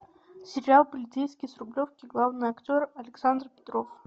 сериал полицейский с рублевки главный актер александр петров